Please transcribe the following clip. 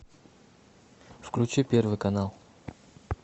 включи первый канал